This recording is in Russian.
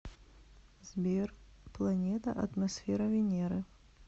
сбер планета атмосфера венеры